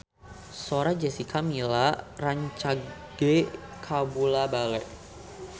Sora Jessica Milla rancage kabula-bale